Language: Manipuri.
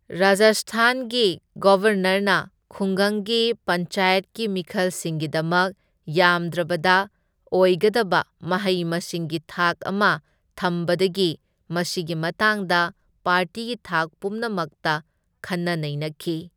ꯔꯥꯖꯁꯊꯥꯟꯒꯤ ꯒꯕꯔꯅꯔꯅ ꯈꯨꯡꯒꯪꯒꯤ ꯄꯟꯆꯥꯌꯠꯀꯤ ꯃꯤꯈꯜꯁꯤꯡꯒꯤꯗꯃꯛ ꯌꯥꯝꯗ꯭ꯔꯕꯗ ꯑꯣꯏꯒꯗꯕ ꯃꯍꯩ ꯃꯁꯤꯡꯒꯤ ꯊꯥꯛ ꯑꯃ ꯊꯝꯕꯗꯒꯤ ꯃꯁꯤꯒꯤ ꯃꯇꯥꯡꯗ ꯄꯥꯔꯇꯤꯒꯤ ꯊꯥꯛ ꯄꯨꯝꯅꯃꯛꯇ ꯈꯟꯅ ꯅꯩꯅꯈꯤ꯫